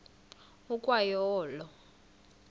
ukwa yo olo